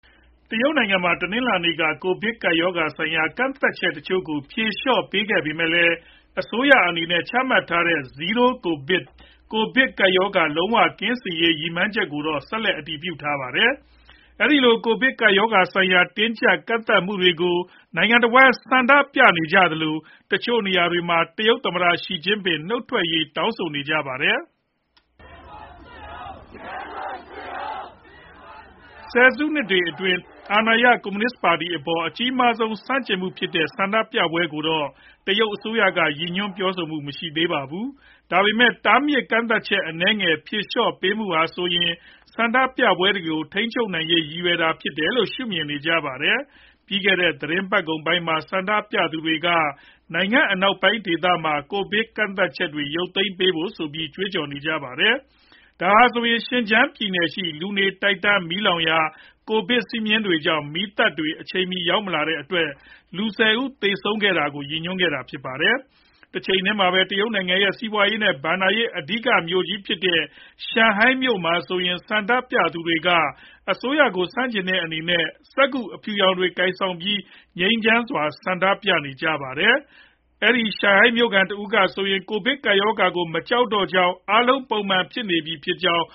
တရုတ်နိုင်ငံမှာ တနင်္လာနေ့က ကိုဗစ်ကပ်ရောဂါဆိုင်ရာ ကန့်သတ်ချက် တချို့ကို ဖြေလျှော့ပေးခဲ့ပေမဲ့လည်း အစိုးရအနေနဲ့ ချမှတ်ထားတဲ့ Zero COVID ကိုဗစ်လုံးဝကင်းစင်ရေး ရည်မှန်းချက်ကိုတော့ ဆက်လက် အတည်ပြုထားပါတယ်။ အဲဒီလို ကိုဗစ်ကပ်ရောဂါဆိုင်ရာ တင်းကြပ်ကန့်သတ်မှုတွေကို နိုင်ငံတဝှမ်း ဆန့်ကျင်ဆန္ဒပြနေသလို တချို့နေရာတွေမှာ တရုတ်သမ္မတ Xi Jinping နုတ်ထွက်ပေးရေး တောင်းဆိုနေကြပါတယ်။ ဆယ်စုနှစ်တွေ အတွင်း အာဏာရ ကွန်မြူနစ် ပါတီ အပေါ် အကြီးမားဆုံး ဆန့်ကျင်မှု ဖြစ်တဲ့ ဆန္ဒပြပွဲတွေကိုတော့ တရုတ် အစိုးရက ရည်ညွှန်းပြောဆိုမှု မရှိပါဘူး။ ဒါပေမဲ့ တားမြစ်ကန့်သတ်ချက် အနည်းငယ် ဖြေလျှော့ပေးမှုဟာဆိုရင် ဆန္ဒပြပွဲတွေကို ထိန်းချုပ်နိုင်ရေး ရည်ရွယ်တာလို့လည်း ရှုမြင်ကြပါတယ်။ ပြီးခဲ့တဲ့ သီတင်းပတ်ကုန်ပိုင်းမှာ ဆန္ဒပြသူတွေက နိုင်ငံအနောက်ပိုင်း ဒေသမှာ ကိုဗစ်ကန့်သတ်ချက်တွေ ရုပ်သိမ်းပေး ဆိုပြီး ကြွေးကြော်ကြပါတယ်။ ဒါဟာဆိုရင် Xinjiang ပြည်နယ်ရှိ လူနေ တိုက်တန်းမီးလောင်ရာ ကိုဗစ်စည်းမျဉ်းတွေကြောင့် မီးသတ်တွေ အချိန်မီ မလာနိုင်တဲ့အတွက်ကြောင့် လူ၁ဝ ဦး သေဆုံးခဲ့ရတာကို ရည်ညွှန်းတာဖြစ်ပါတယ်။ တချိန်တည်းမှာပဲ နိုင်ငံရဲ့ စီးပွားရေး နဲ့ ဘဏ္ဍာရေး အဓိကမြို့ကြီးဖြစ်တဲ့ Shanghai မြို့မှာဆိုရင် ဆန္ဒပြသူတွေက အစိုးရကို ဆန်ကျင်တဲ့အနေနဲ့ စက္ကူအဖြူရောင်တွေကို ကိုင်ဆောင်ပြီး ငြိမ်းချမ်းစွာ ဆန္ဒပြနေကြပါတယ်။ အဲဒီ Shanghai မြို့ခံတဦး ကဆိုရင် ကိုဗစ်ကပ်ရောဂါကို မကြောက်တော့ကြောင်း အားလုံး ပုံမှန်ဖြစ်နေပြီဖြစ်ကြောင်း